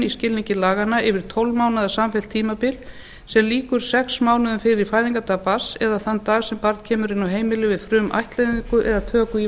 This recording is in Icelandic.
skilningi laganna yfir tólf mánaða samfellt tímabil sem lýkur sex mánuðum fyrir fæðingardag barns eða þann dag sem barn kemur inn á heimilið við frumættleiðingu eða töku í